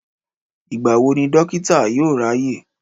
Ìgbà wo ni Dókítà yóò ráyè?